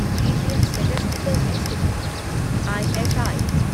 Indian statistical institute ISI